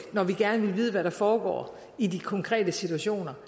når vi gerne vil vide hvad der foregår i de konkrete situationer